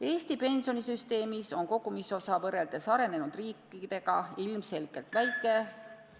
Eesti pensionisüsteemis on kogumisosa võrreldes arenenud riikidega ilmselgelt väike.